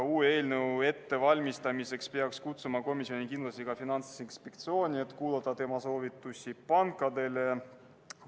Uue eelnõu ettevalmistamiseks peaks kindlasti kutsuma komisjoni ka Finantsinspektsiooni, et kuulata tema soovitusi pankadele.